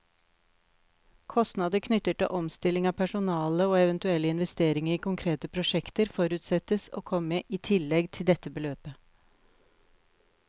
Kostnader knyttet til omstilling av personale, og eventuelle investeringer i konkrete prosjekter, forutsettes å komme i tillegg til dette beløp.